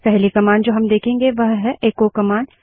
पहली कमांड जो हम देखेंगे वो है एक्को कमांड